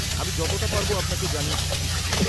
আমি যতটা পারব আপনাকে জানিয়ে খুশী হব।